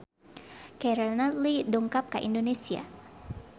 Keira Knightley dongkap ka Indonesia